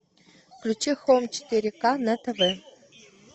включи хоум четыре к на тв